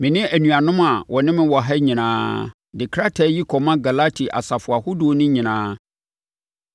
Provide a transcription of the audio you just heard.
Me ne anuanom a wɔne me wɔ ha nyinaa, De krataa yi kɔma Galati asafo ahodoɔ no nyinaa: